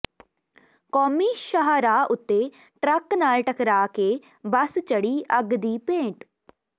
ਕੌਮੀ ਸ਼ਾਹਰਾਹ ਉੱਤੇ ਟਰੱਕ ਨਾਲ ਟਕਰਾਅ ਕੇ ਬੱਸ ਚੜ੍ਹੀ ਅੱਗ ਦੀ ਭੇਟ